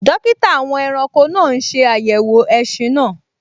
Dókítà àwọn ẹranko náà n ṣe àyẹ̀wò ẹṣin náà